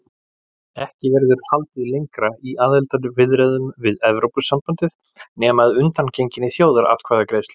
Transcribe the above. Ekki verður haldið lengra í aðildarviðræðum við Evrópusambandið nema að undangenginni þjóðaratkvæðagreiðslu.